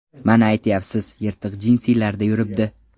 Mana aytyapsiz, yirtiq jinsilarda yuribdi.